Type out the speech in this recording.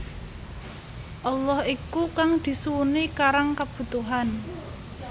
Allah iku kang disuwuni karang kabutuhan